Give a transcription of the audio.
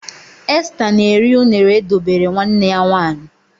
Esther na-eri unere e dobere nwanne ya nwanyị.